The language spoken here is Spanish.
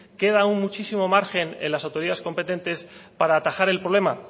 queda aún muchísimo margen en las autoridades competentes para atajar el problema